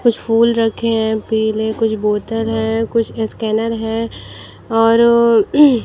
कुछ फूल रखे हैं पीले कुछ बोतल है कुछ स्कैनर हैं और--